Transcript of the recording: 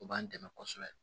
O b'an dɛmɛ kosɛbɛ